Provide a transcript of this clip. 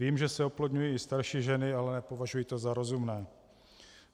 Vím, že se oplodňují i starší ženy, ale nepovažuji to za rozumné.